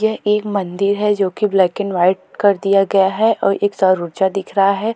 यह एक मंदिर है जो की ब्लैक एंड वाइट कर दिया गया है और एक सरोज्जा दिख रहा है।